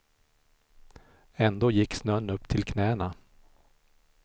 Ändå gick snön upp till knäna.